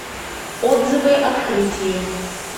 отзывы открытие